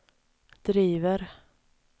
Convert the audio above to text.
driver